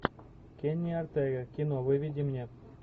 кенни ортега кино выведи мне